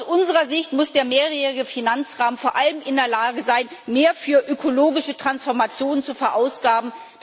Aus unserer Sicht muss der mehrjährige Finanzrahmen vor allem in der Lage sein, mehr für ökologische Transformation zu verausgaben.